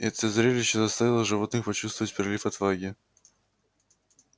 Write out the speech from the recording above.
это зрелище заставило животных почувствовать прилив отваги